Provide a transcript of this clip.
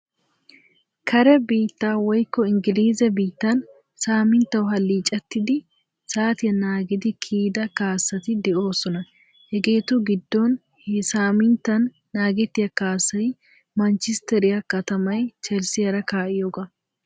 Kaare biitta woyikko inggilizze biittan saaminttawu haalichettidi saatiya naagidi kiyida kaassati de'osoona. Heegetu giidon he saaminttan naagetiya kaassayi mancisteeriya kaatamayi cheelsiyaara kaa'iyooga.